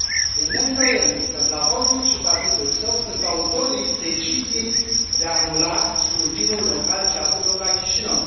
Este neîndoielnic că Plahotniuc și partidul său sunt autorii deciziei de a anula scrutinul local ce a avut loc la Chișinău.